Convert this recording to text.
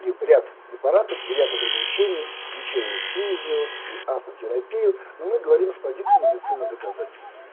ряд препаратов или от ограничения значение физиологии автор терапии но мы говорим с позиции медицина доказательна